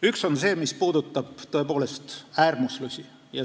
Üks on see, mis puudutab tõepoolest äärmuslusi.